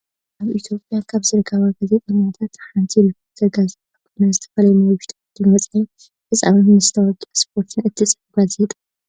ኣብ ኢትዮጵያ ካብ ዝርከባ ጋዜጣታት ሓንቲ ሪፖርተር ጋዜጣ ኮይና፣ ዝተፈላለዩ ናይ ውሽጢ ዓድን ወፃኢን ፍፃመታትን መስታወቅያን ስፖርትን እትፅሕፍ ጋዜጣ እያ።